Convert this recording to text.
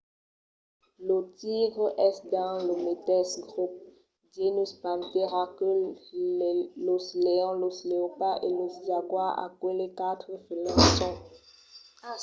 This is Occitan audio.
lo tigre es dins lo meteis grop genus panthera que los leons los leopards e los jaguars. aqueles quatre felins son los solets que pòdon rugir